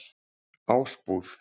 Ásbúð